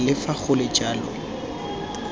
le fa go le jalo